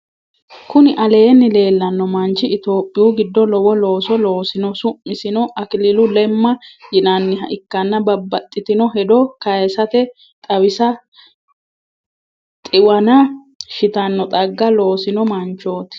kuni aleenni leellanno manchi itopiyu giddo lowo looso loosino. su'misino akililu lemma yinanniha ikkanna babbaxitino hedo kayisatenni xiwana shitanno xagga loosino manchoti.